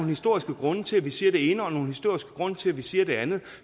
historiske grunde til at vi siger det ene og nogle historiske grunde til at vi siger det andet